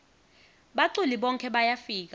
baculi bonkhe bayafika